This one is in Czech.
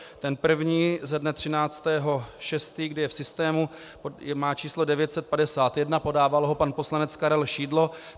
Ten první ze dne 13. 6. je v systému, má číslo 951, podával ho pan poslanec Karel Šidlo.